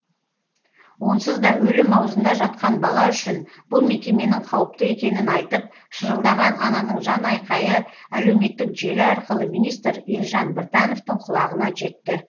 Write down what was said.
онсыз да өлім аузында жатқан бала үшін бұл мекеменің қауіпті екенін айтып шырылдаған ананың жанайқайы әлеуметтік желі арқылы министр елжан біртановтың құлағына жетті